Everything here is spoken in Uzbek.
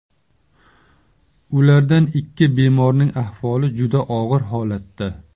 Ulardan ikki bemorning ahvoli juda og‘ir holatda.